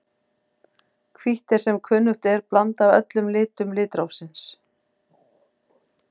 Hvítt er sem kunnugt er blanda af öllum litum litrófsins.